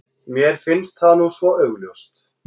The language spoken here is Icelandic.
Mér finnst það nú svo augljóst.